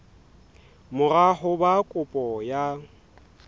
mora ho ba kopo ya